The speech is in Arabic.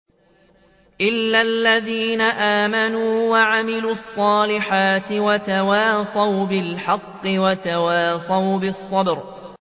إِلَّا الَّذِينَ آمَنُوا وَعَمِلُوا الصَّالِحَاتِ وَتَوَاصَوْا بِالْحَقِّ وَتَوَاصَوْا بِالصَّبْرِ